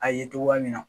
A ye togoya min na